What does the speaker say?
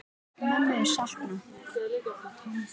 Mömmu er saknað.